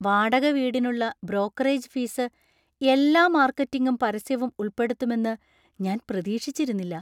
വാടക വീടിനുള്ള brokerage fees എല്ലാ മാര്‍ക്കറ്റിംഗും പരസ്യവും ഉൾപ്പെടുത്തുമെന്ന് ഞാൻ പ്രതീക്ഷിച്ചിരുന്നില്ല.